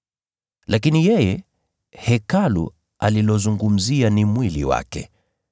Lakini yeye Hekalu alilozungumzia ni mwili wake.